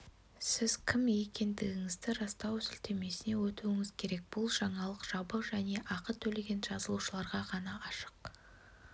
сіз кім екендігіңізді растау сілтемесіне өтуіңіз керек бұл жаңалық жабық және ақы төлеген жазылушыларға ғана ашық